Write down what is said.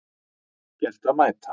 Gert að mæta